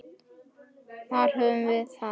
Þar höfum við það!